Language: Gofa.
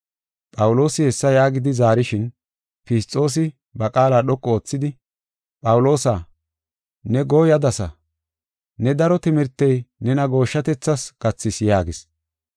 Phawuloosi hessa yaagidi zaarishin, Fisxoosi ba qaala dhoqu oothidi, “Phawuloosa, ne gooyadasa; ne daro timirtey nena gooshshatethas gathis” yaagis.